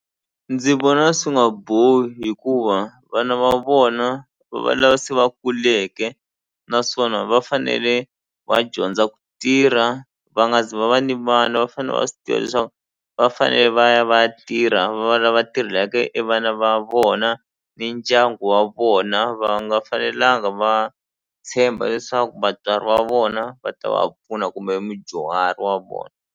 Ndzi vona swi nga bohi hikuva vana va vona va va lava se va kuleke naswona va fanele va dyondza ku tirha va nga zi va va ni va fane va swi tiva leswaku va fanele va ya va ya tirha va va lava tirhelaka e vana va vona ni ndyangu wa vona va nga fanelanga va tshemba leswaku vatswari va vona va ta va pfuna kumbe mudyuhari wa vona.